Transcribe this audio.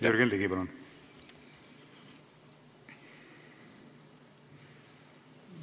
Jürgen Ligi, palun!